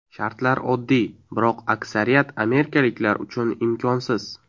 Shartlar oddiy, biroq aksariyat amerikaliklar uchun imkonsiz.